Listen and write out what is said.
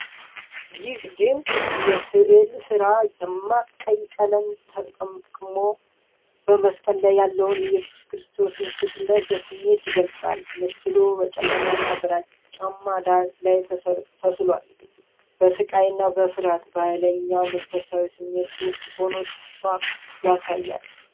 ይህ ድንቅ የሥዕል ሥራ፣ ደማቅ ቀይ ቀለምን ተጠቅሞ በመስቀል ላይ ያለውን የኢየሱስ ክርስቶስን ስቅለት በስሜት ይገልጻል። ምስሉ በጨለማና ግራጫማ ዳራ ላይ ተስሏል፤ በሥቃይ፣ በፍርሃትና በኃይለኛ መንፈሳዊ ስሜት ውስጥ ሆኖ ተስፋን ያሳያል።